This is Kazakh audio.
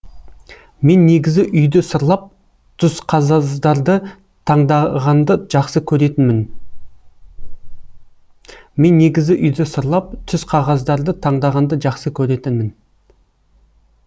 мен негізі үйді сырлап таңдағанды жақсы көретінмін мен негізі үйді сырлап түсқағаздарды таңдағанды жақсы көретінмін